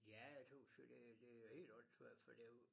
Ja jeg tøs jo det det helt åndssvagt for det jo